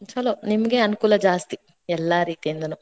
ಛೆಲೋ ನಿಮ್ಗೆ ಅನುಕೂಲ ಜಾಸ್ತಿ ಎಲ್ಲಾ ರೀತಿಯಿಂದನೂ.